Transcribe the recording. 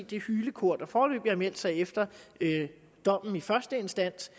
det hylekor der foreløbig har meldt sig efter dommen i første instans